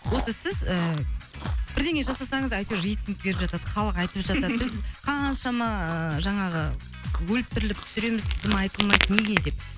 осы сіз ыыы бірдеңе жасасаңыз әйтеуір рейтинг беріп жатады халық айтып жатады біз қаншама жаңағы өліп тіріліп түсіреміз дым айтылмайды неге деп